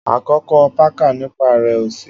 akọkọ pakà nipa rẹ osi.